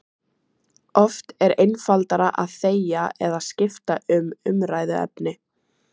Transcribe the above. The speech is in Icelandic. Oft er einfaldara að þegja eða skipta um umræðuefni.